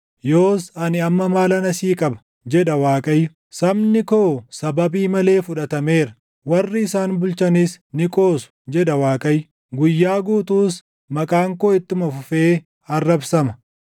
“Yoos ani amma maalan asii qaba?” jedha Waaqayyo. “Sabni koo sababii malee fudhatameera; warri isaan bulchanis ni qoosu” jedha Waaqayyo. “Guyyaa guutuus, maqaan koo ittuma fufee arrabsama.